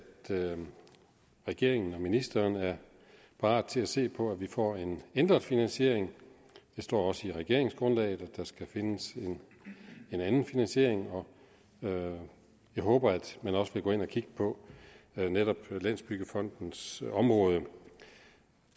regeringen og ministeren er parat til at se på at vi får en ændret finansiering der står også i regeringsgrundlaget at der skal findes en anden finansiering jeg håber at man også vil gå ind at kigge på netop landsbyggefondens område